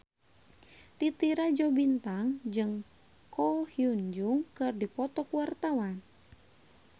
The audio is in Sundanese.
Titi Rajo Bintang jeung Ko Hyun Jung keur dipoto ku wartawan